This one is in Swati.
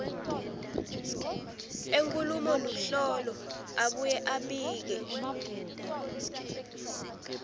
enkhulumoluhlolo abuye abike